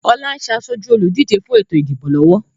Ọlá ń ṣe asoju olùdíje fún ètò ìdìbò lọ́wọ́